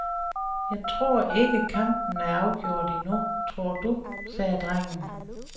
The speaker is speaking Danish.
Jeg tror ikke kampen er afgjort endnu, tror du, sagde drengen.